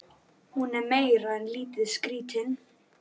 Kristborg, hækkaðu í hátalaranum.